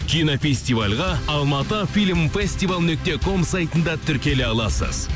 кинофестивальға алматы фильм фестивал нүкте ком сайтында тіркеле аласыз